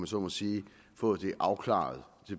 så må sige fået det afklaret